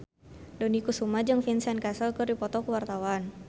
Dony Kesuma jeung Vincent Cassel keur dipoto ku wartawan